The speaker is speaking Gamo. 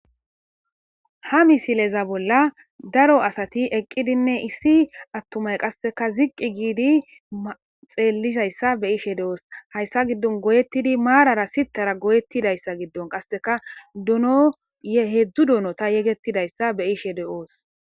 ha misileza bolla daro asati eqqidinne issi attumay qasseka ziqqi giidi xeelizaysa be'ishe de7oos hayssa giddon goyettidi maarara sitara goyettidayssa giddon qasseka donoye heedzdzu donota yegettidayssa be ishe de7oos.